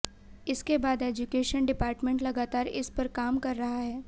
इसके बाद education department लगातार इस पर काम कर रहा है